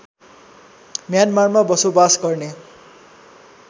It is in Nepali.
म्यानमारमा बसोबास गर्ने